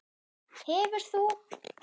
Hefur þú?